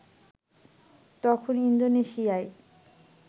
তখন ইন্দোনেশিয়ার